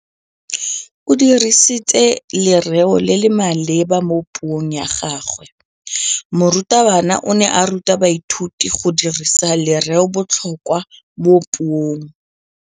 O dirisitse lerêo le le maleba mo puông ya gagwe. Morutabana o ne a ruta baithuti go dirisa lêrêôbotlhôkwa mo puong.